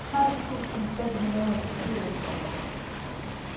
tolv tusind fem hundrede og syvogtres